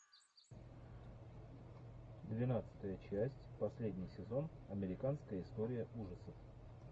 двенадцатая часть последний сезон американская история ужасов